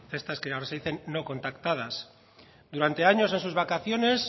de estas que ahora se dicen no contactadas durante años en sus vacaciones